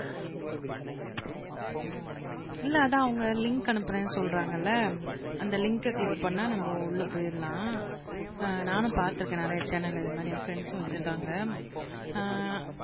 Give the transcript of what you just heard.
இல்லை அதான் அவங்க லிங்க் அனுப்பறேன்னு சொல்றாங்கல்ல அந்த லிங்க கிளிக் பண்ணா நம்ம உள்ள போயிரலாம் ஆஹ் நானும் பார்த்திருக்கேன் நிறைய சேனல் இது மாரி என் ப்ரெண்ட்ஸ்ம் வச்சிருக்காங்க ஆஹ்